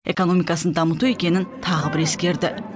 экономикасын дамыту екенін тағы бір ескерді